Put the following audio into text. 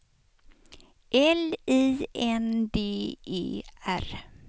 L I N D E R